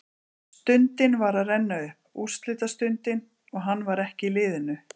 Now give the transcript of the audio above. Stundin var að renna upp, úrslitastundin, og hann var ekki í liðinu!